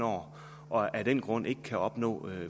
år og af den grund ikke kan opnå